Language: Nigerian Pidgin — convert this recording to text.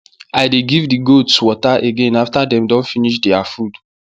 i dey give the goats water again after dem don finish their food